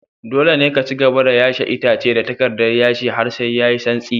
Dole ne ka cigaba da yashe itace da takardar yashe har sai yayi santsi.